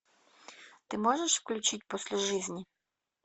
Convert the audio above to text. ты можешь включить после жизни